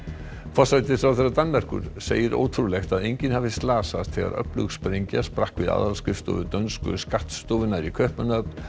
forsætisráðherra Danmerkur segir ótrúlegt að enginn hafi slasast þegar öflug sprengja sprakk við aðalskrifstofu dönsku skattstofunnar í Kaupmannahöfn